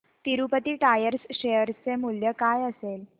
Tirupati tyres share चे मूल्य काय असेल